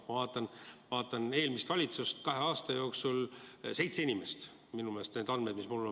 Ma vaatan eelmist valitsust: kahe aasta jooksul seitse inimest minu meelest.